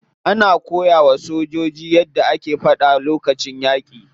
Ana koyawa sojojin yadda ake fada lokacin yaki.